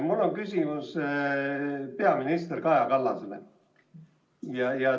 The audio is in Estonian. Mul on küsimus peaminister Kaja Kallasele.